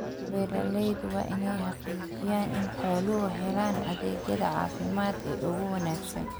Beeraleydu waa inay xaqiijiyaan in xooluhu helaan adeegyada caafimaad ee ugu wanaagsan.